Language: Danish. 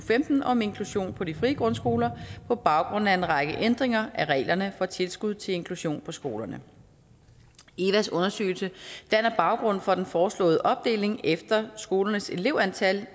femten om inklusion på de frie grundskoler på baggrund af en række ændringer af reglerne for tilskud til inklusion på skolerne evas undersøgelse danner baggrund for den foreslåede opdeling efter skolernes elevantal